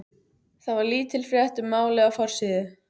Þar var lítil frétt um málið á forsíðu.